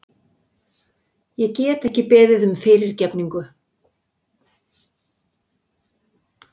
Ég get ekki beðið um fyrirgefningu.